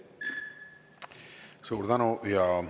Suur tänu!